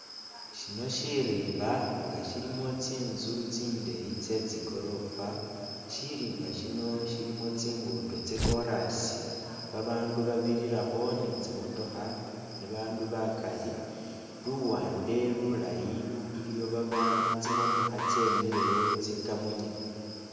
Shino shirimba nga shilimo tsinzu tsindeyi tse tsigorofa, shirimba shino shilimo tsingudo tsa corasi ba bandu babirirakho ni tsimotokha, ba bandu bakali luwande lulayi iliyo baba- tsimotokha tsemilewo tsikamunye.